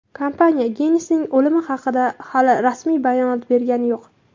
Kompaniya Gensning o‘limi haqida hali rasmiy bayonot bergani yo‘q.